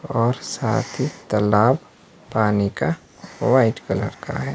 और साथ ही तालाब पानी का वाइट कलर का है।